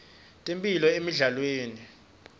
temphilo emidlalweni